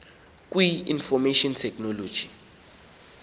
kwi information technology